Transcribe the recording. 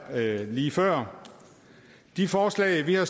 lige før de forslag vi har